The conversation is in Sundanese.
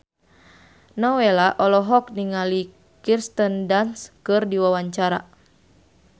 Nowela olohok ningali Kirsten Dunst keur diwawancara